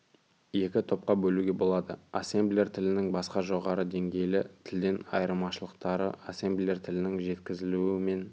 екі топқа бөлуге болады ассемблер тілінің басқа жоғары деңгейлі тілден айырмашылықтары ассемблер тілінің жеткізілуі мен